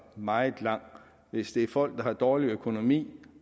meget lang hvis det er folk der har dårlig økonomi